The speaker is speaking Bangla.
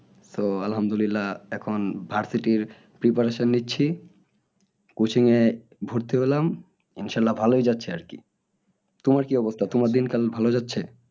তো আলহামদুলিল্লাহ এখন iversity র preparation নিচ্ছি coaching এ ভর্তি হলাম ইনশাল্লাহ ভালোই যাচ্ছে আর কি। তোমার কি অবস্থা তোমার দিন কাল ভালো যাচ্ছে? HSC পরীক্ষা দিলি